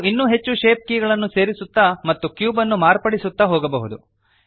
ನಾವು ಇನ್ನೂ ಹೆಚ್ಚು ಶೇಪ್ ಕೀಗಳನ್ನು ಸೇರಿಸುತ್ತ ಮತ್ತು ಕ್ಯೂಬನ್ನು ಮಾರ್ಪಡಿಸುತ್ತ ಹೋಗಬಹುದು